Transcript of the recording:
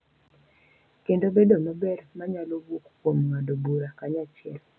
Kendo bedo maber ma nyalo wuok kuom ng’ado bura kanyachiel.